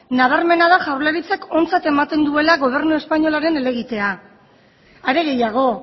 nabarmena da jaurlaritzak ontzat ematen duela gobernu espainolaren helegitea are gehiago